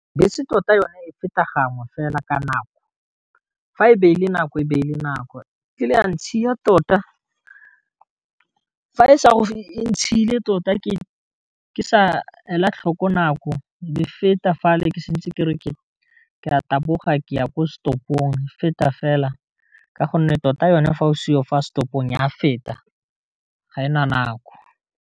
Bese tota yone e feta gangwe fela ka nako fa e beile nako e beile nako, e tlile ya ntshiya tota fa e sa e ntshile tota ke sa la tlhoko nako le feta fa le ke santse ke re ke a taboga ke ya ko setopong, e feta fela ka gonne tota yone fa o seyo fa setopong ya feta ga ena nako.